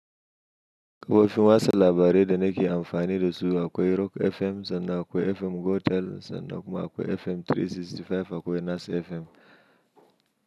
Kafofin watsa labarai da nake amfani da su akwai Rock FM, sannan akwai FM Gotel, sannan kuma akwai FM 365 akwai Nas FM.